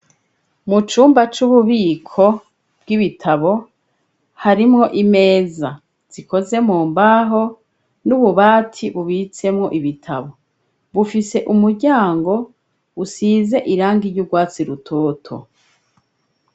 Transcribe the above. mucumba c'ububiko bw'ibitabo harimwo imeza zikoze mu mbaho n'ububati bubitsemwo ibitabo bufise umuryango usize irangi ry'ubwatsi rutoto